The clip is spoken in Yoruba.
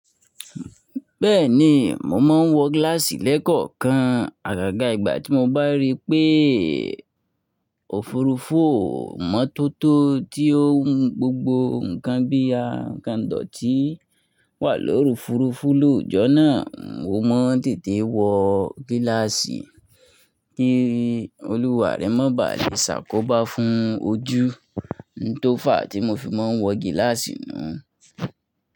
Bẹ́ẹ̀ni, mo máa ń wọ gíláàsì lẹ́kọ̀ọ̀kan àgàgà ìgbà tí mo bá rí pé òfurufú o mọ́tótó tí ó ń gbogbo nǹkan bí i àǹkandọ̀ tí wà lórí òfurufú lójọ́ náà. Mo máa ń tètè wọ gíláàsì kí olùwàré má ba à le ṣàkóbá fún ojú n tó fà á tí mo fi máa ń wọ gíláàsì nu.